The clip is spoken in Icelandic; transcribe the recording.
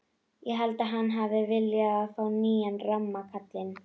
Ég held að hann hafi viljað fá nýjan ramma kallinn.